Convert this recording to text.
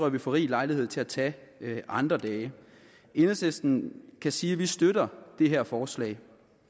at vi får rig lejlighed til at tage andre dage enhedslisten kan sige at vi støtter det her forslag